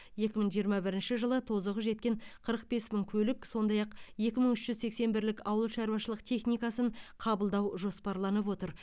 екі мың жиырма бірінші жылы тозығы жеткен қырық бес мың көлік сондай ақ екі мың үш жүз сексен бірлік ауылшарушылық техникасын қабылдау жоспарланып отыр